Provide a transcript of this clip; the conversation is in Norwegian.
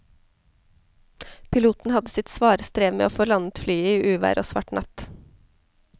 Piloten hadde sitt svare strev med å få landet flyet i uvær og svart natt.